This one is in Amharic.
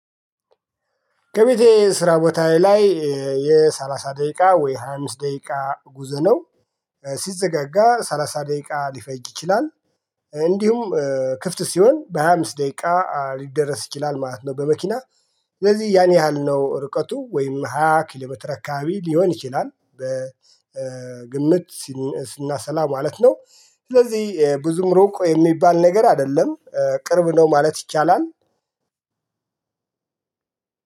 ከቤቴ ስራ ቦታዬ ላይ የሰላሳ ደቂቃ ወይ ሃያ አምስት ደቂቃ ጉዞ ነው። ሲዘጋጋ ሰላሳ ደቂቃ ሊፈጅ ይችላል። እንዲሁም ክፍት ሲሆን በሃያ አምስት ደቂቃ ሊደረስ ይችላል ማለት ነው። በመኪና ስለዚህ ያን ያህል ነው ርቀቱ ወይም ሃያ ኪሎ አካባቢ ሊሆን ይችላል። በግምት ስናሰላ ማለት ነው። ስለዚህ ብዙም ሩቆ የሚባል ነገር አይደለም ቅርብ ነው ማለት ይቻላል።